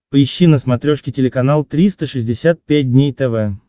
поищи на смотрешке телеканал триста шестьдесят пять дней тв